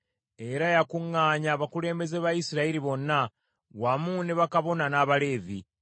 Era yakuŋŋaanya abakulembeze ba Isirayiri bonna, wamu ne bakabona n’Abaleevi.